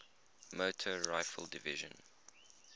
motor rifle division